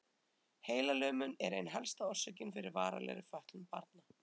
Heilalömun er ein helsta orsökin fyrir varanlegri fötlun barna.